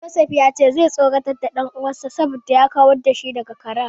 Joseph ya ce zai tsoratar da dan uwansa saboda ya kawar da shi daga karen.